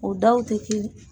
O daw te kelen